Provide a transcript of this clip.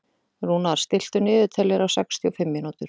Rúnar, stilltu niðurteljara á sextíu og fimm mínútur.